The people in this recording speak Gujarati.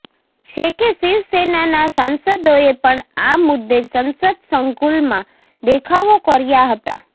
છે કે શિવસેનાના સાંસદોએ પણ આ મુદ્દે સંસદ સંકુલમાં દેખાવો કર્યા હતા